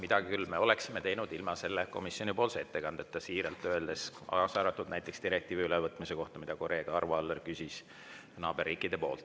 Mida me küll oleksime teinud ilma selle komisjonipoolse ettekandeta, ütlen siiralt, kaasa arvatud näiteks direktiivi ülevõtmise kohta naaberriikides, mille kohta kolleeg Arvo Aller küsis.